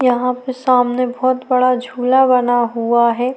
यहाँ पर सामने बहुत बड़ा झूला बना हुआ है।